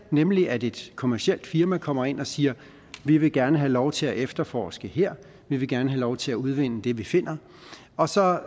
nemlig at et kommercielt firma kommer ind og siger vi vil gerne have lov til at efterforske her vi vil gerne have lov til at udvinde det vi finder og så